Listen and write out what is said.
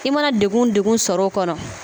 I mana degun degun sɔrɔ o kɔnɔ